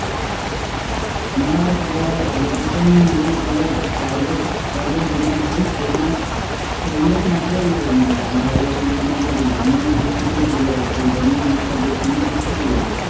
আমাৰ ফালে education বুলি ক'লে এতিয়া private private যিমান আছে সেইবিলাক সেইবিলাক মাত্ৰ লৈ মানে আগবাঢ়ি আছে যোনতো আমাৰ government institute বুলি আছে government institute খিনি পিছ পৰি আছে